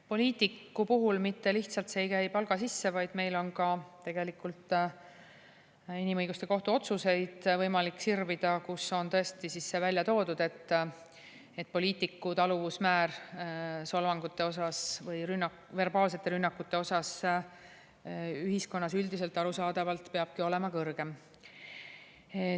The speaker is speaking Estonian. Poliitiku puhul mitte lihtsalt see ei käi palga sisse, vaid meil on ka tegelikult inimõiguste kohtu otsuseid võimalik sirvida, kus on välja toodud, et poliitiku taluvusmäär solvangute osas või verbaalsete rünnakute osas ühiskonnas üldiselt peabki arusaadavalt olema kõrgem.